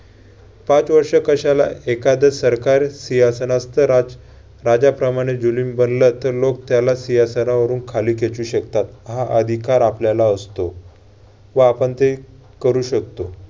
पाच वर्ष कशाला एखादं सरकार सिंहासनास्थ राज~ राजाप्रमाणे बनला तर लोक त्याला सिंहासनावरून खाली खेचू शकतात. हा अधिकार आपल्याला असतो व आपण ते करू शकतो.